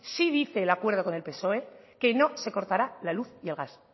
sí dice el acuerdo con el psoe que no se cortará la luz y el gas